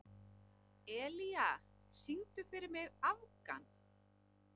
Elía, syngdu fyrir mig „Afgan“.